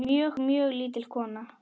Mjög, mjög lítil kona.